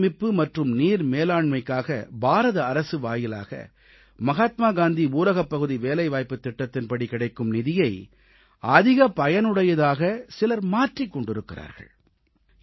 நீர்சேமிப்பு மற்றும் நீர் மேலாண்மைக்காக பாரத அரசு வாயிலாக மகாத்மா காந்தி ஊரகப்பகுதி வேலைவாய்ப்புத் திட்டத்தின்படி கிடைக்கும் நிதியை அதிக பயனுடையதாக சிலர் மாற்றிக் கொண்டிருக்கிறார்கள்